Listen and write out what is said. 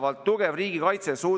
See on kõige kiirem riigikaitse praegu.